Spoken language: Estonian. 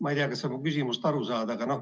Ma ei tea, kas sa mu küsimusest aru saad.